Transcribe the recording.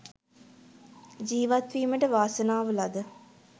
ජීවත්වීමට වාසනාව ලද